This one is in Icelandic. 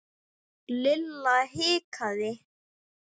Lilla hikaði.